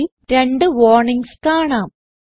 കോഡിൽ രണ്ട് വാർണിങ്സ് കാണാം